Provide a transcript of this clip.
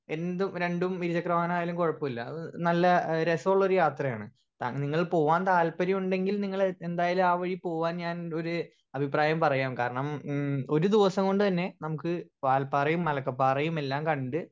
speaker 1 എന്തും രണ്ടും ഇരുചക്ര വാഹനായാലും കൊഴപ്പല്ല അത് നല്ല രസ്സള്ളൊരു യാത്രയാണ് ഞ നിങ്ങൾ പോവാൻ താല്പര്യണ്ടെങ്കിൽ നിങ്ങൾ എന്തായാലും ആ വഴി പോവാൻ ഞാൻ ഒര് അഭിപ്രായം പറയാം കാരണം ഉം ഒരു ദിവസം കൊണ്ട് തന്നെ നമ്മുക്ക് വാൽപ്പാറേം മലക്കപ്പാറേം എല്ലാം കണ്ട്